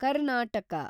Karnataka